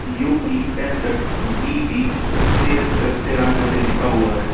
U P पैंसठ B B तिहत्तर तिरानबे लिखा हुआ है।